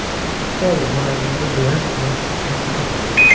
Xitoy murabbiyi bilan yaxshi tanishman.